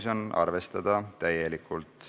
Teine lugemine on lõpetatud ja ka tänane istung on lõppenud.